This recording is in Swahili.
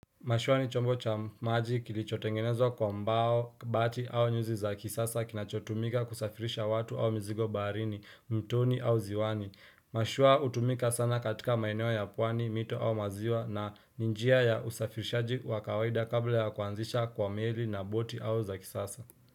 Mashua ni chombo cha maji kilichotengenezwa kwa mbao, bati au nyuzi za kisasa kinachotumika kusafirisha watu au mzigo baharini, mtoni au ziwani. Mashua hutumika sana katika maeneo ya pwani, mito au maziwa na ni njia ya usafirishaji wa kawaida kabla ya kuanzisha kwa meli na boti au za kisasa.